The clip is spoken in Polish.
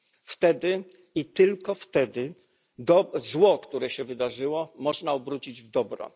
Wtedy i tylko wtedy zło, które się wydarzyło, można obrócić w dobro.